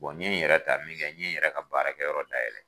n ɲe n yɛrɛ ta min kɛ n ɲe n yɛrɛ ka baarakɛ yɔrɔ dayɛlɛ